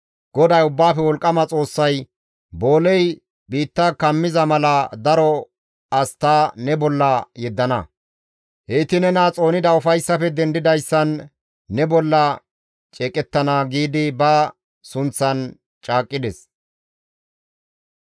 GODAY Ubbaafe Wolqqama Xoossay, «Booley biitta kumiza mala daro as ta ne bolla yeddana; heyti nena xoonida ufayssafe dendidayssan ne bolla ceeqettana» giidi ba sunththan caaqqides.